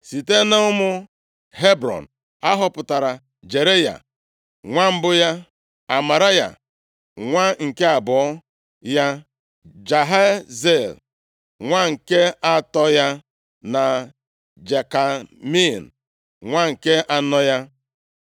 Site nʼụmụ Hebrọn a họpụtara Jeraya, nwa mbụ ya, Amaraya nwa nke abụọ ya, Jahaziel nwa nke atọ ya na Jekameam nwa nke anọ ya.